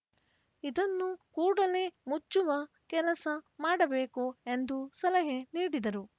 ಇದನ್ನು ಕೂಡಲೆ ಮುಚ್ಚುವ ಕೆಲಸ ಮಾಡಬೇಕು ಎಂದು ಸಲಹೆ ನೀಡಿದರು